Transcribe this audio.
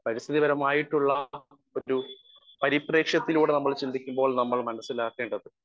speaker 1 പരിസ്ഥിതികരമായിട്ടുള്ള ഒരു പരിപ്രേക്ഷ്യത്തിലൂടെ നമ്മൾ ചിന്തിക്കുമ്പോൾ നമ്മൾ മനസ്സിലാക്കേണ്ടത്